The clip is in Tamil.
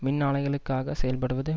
மின் ஆலைகளுக்காக செயல்படுவது